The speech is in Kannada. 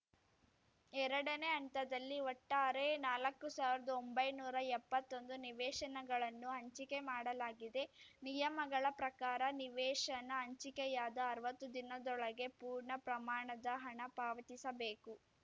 ಎರಡನೇ ಹಂತದಲ್ಲಿ ಒಟ್ಟಾರೆ ನಾಲ್ಕು ಸಾವಿರ್ದ ಒಂಬೈನೂರಾ ಎಪ್ಪತ್ತೊಂದು ನಿವೇಶನಗಳನ್ನು ಹಂಚಿಕೆ ಮಾಡಲಾಗಿದೆ ನಿಯಮಗಳ ಪ್ರಕಾರ ನಿವೇಶನ ಹಂಚಿಕೆಯಾದ ಅರ್ವತ್ತು ದಿನದೊಳಗೆ ಪೂರ್ಣ ಪ್ರಮಾಣದ ಹಣ ಪಾವತಿಸಬೇಕು